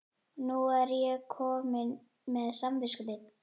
Nú er ég komin með samviskubit.